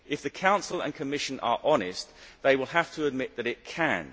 If the Council and Commission are honest, they will have to admit that it can.